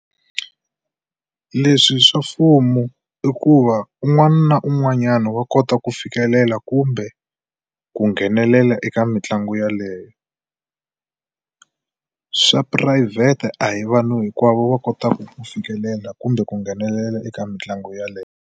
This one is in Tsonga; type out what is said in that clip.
Leswi swa mfumo i ku va un'wana na un'wanyana wa kota ku fikelela kumbe ku nghenelela eka mitlangu yaleyo. Swa phurayivhete a hi vanhu hinkwavo va kotaka ku fikelela kumbe ku nghenelela eka mitlangu yaleyo.